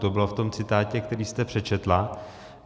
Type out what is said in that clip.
To bylo v tom citátu, který jste přečetla.